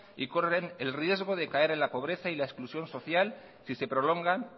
y corren el riesgo de caer en la pobreza y la exclusión social si se prolongan